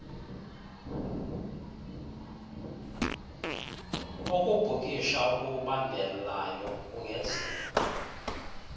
ukubhukisha okubambelayo kungenziwa